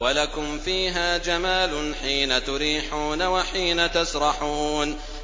وَلَكُمْ فِيهَا جَمَالٌ حِينَ تُرِيحُونَ وَحِينَ تَسْرَحُونَ